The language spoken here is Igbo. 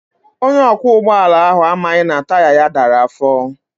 Onye ọkwọ ụgbọala ahụ amaghị na taya ya dara afọ.